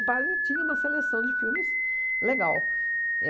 padre tinha uma seleção de filmes legal.